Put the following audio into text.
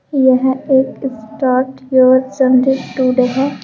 यह एक start your journey today है।